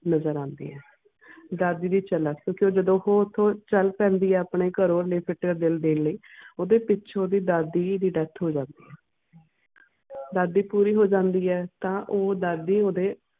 ਨਜ਼ਰ ਆਂਦੀ ਆ ਦਾਦੀ ਦੇ ਤੇ ਜਦੋਂ ਓਹੋ ਉਥੋਂ ਚਲ ਪੈਂਦੀ ਆ ਆਪਣੇ ਘਰੋਂ ਦਾ ਦਿਲ ਦੇਣ ਲਈ ਓਹਦੇ ਪਿੱਛੋਂ ਦੀ ਓਹਦੀ ਦਾਦੀ ਦੀ ਹੋ ਜਾਂਦੀ ਆ ਦਾਦੀ ਪੂਰੀ ਹੋ ਜਾਂਦੀ ਆ ਤਾਂ ਉਹ ਦਾਦੀ ਓਹਦੇ